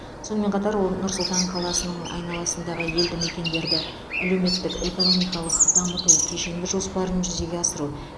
сонымен қатар ол нұр сұлтан қаласының айналасындағы елді мекендерді әлеуметтік экономикалық дамыту кешенді жоспарын жүзеге асыру